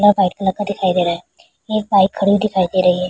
White colour का दिखाई दे रहा है एक बाइक खड़ी हुई दिखाई दे रही है।